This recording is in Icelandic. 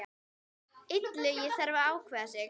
Illugi þarf að ákveða sig.